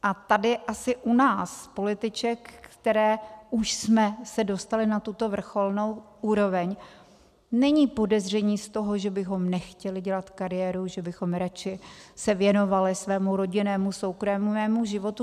A tady asi u nás političek, které už jsme se dostaly na tuto vrcholnou úroveň, není podezření z toho, že bychom nechtěly dělat kariéru, že bychom radši se věnovaly svému rodinnému soukromému životu.